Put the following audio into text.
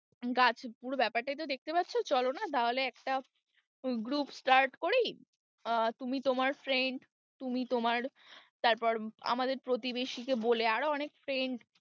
গাছ, পুরো ব্যাপারটাই তো দেখতে পাচ্ছ চলো না তাহলে একটা group start করি, আহ তুমি তোমার friend তুমি তোমার তারপর আমাদের প্রতিবেশীকে বলে আরও অনেক friend